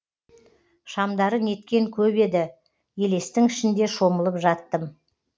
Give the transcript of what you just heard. шамдары неткен көп еді елестің ішінде шомылып жаттым